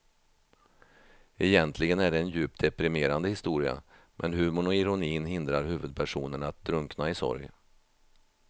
Egentligen är det en djupt deprimerande historia men humorn och ironin hindrar huvudpersonen att drunkna i sorg.